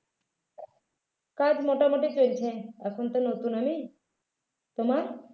কাজ মোটামুটি চলছে এখন তো নতুন আমি তোমার